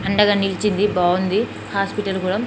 అండగా నిలిచింది బాగుంది హాస్పిటల్ కూడా .